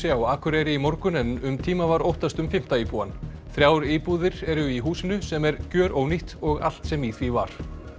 á Akureyri í morgun en um tíma var óttast um fimmta íbúann þrjár íbúðir eru í húsinu sem er gjörónýtt og allt sem í því var